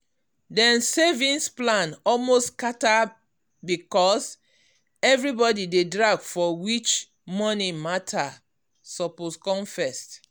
dem savings plan almost scatter because everybody dey drag for which money matter suppose come first.